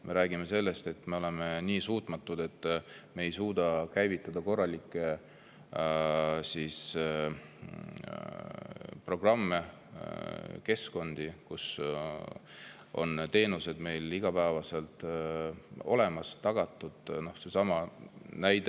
Me räägime sellest, et me oleme nii suutmatud, et me ei suuda käivitada korralikke programme, keskkondi, kus on teenused igapäevaselt olemas ja tagatud.